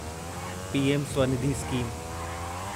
PM Svanidhi scheme